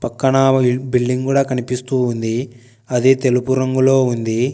పక్కన బిల్డింగ్ కూడా కనిపిస్తూ ఉంది అది తెలుపు రంగులో ఉంది.